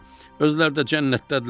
Özləri də cənnətdədirlər.